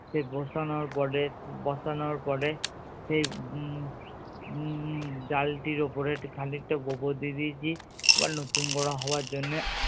সে বসানোর পরে বসানোর পরে সেই উম উম ডালটির ওপরে খানিকটা গোবর দিয়ে দিয়েছি আবার নতুন করে হবার জন্যে